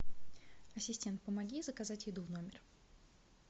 ассистент помоги заказать еду в номер